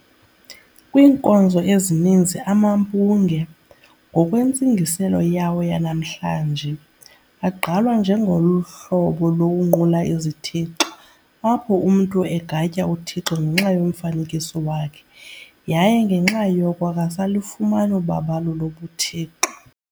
Kwiinkonzo ezininzi amampunge, ngokwentsingiselo yawo yanamhlanje, agqalwa njengohlobo lokunqula izithixo, apho umntu egatya uThixo ngenxa yomfanekiso wakhe, yaye ngenxa yoko akasalufumani ubabalo lobuthixo.